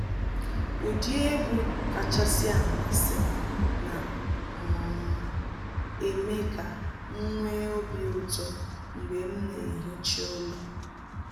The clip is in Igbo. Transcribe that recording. Ụdị egwu kachasị amasị m na um eme ka m nwee obi ụtọ mgbe m na ehicha ụlọ.